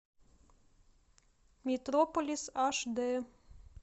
метрополис аш дэ